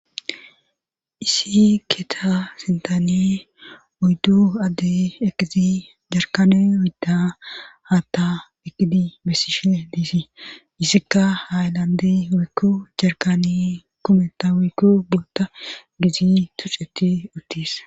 issi keeta sentane uyddu adde eqizi jarkani woidda haatta ekidi bessishe liisi issikka ha ilandi woykku jarkani kometa waykku boota giizi tuceti uttis